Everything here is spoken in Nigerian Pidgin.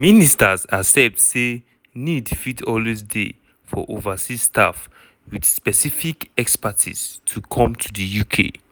weda di goment proposal here make difference we go um see.